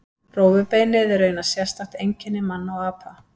Rófubeinið er raunar sérstakt einkenni manna og apa.